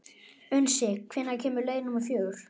Unnsi, hvenær kemur leið númer fjögur?